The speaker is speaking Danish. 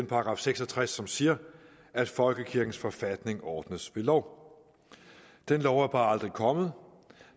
§ seks og tres som siger at folkekirkens forfatning ordnes ved lov den lov er bare aldrig kommet